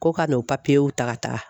Ko ka n'o ta ka taga.